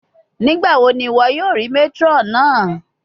Nigbawo ni iwọ yoo rii matron naa?